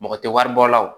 Mɔgɔ tɛ wari bɔ la o